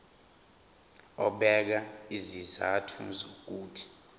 ebeka izizathu zokuthi